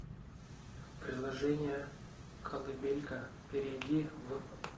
приложение колыбелька перейди в